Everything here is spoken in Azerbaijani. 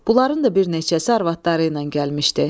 Bunların da bir neçəsi arvadları ilə gəlmişdi.